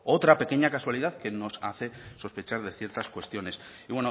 otra pequeña casualidad que nos hace sospechar de ciertas cuestiones y